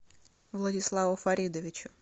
владиславу фаридовичу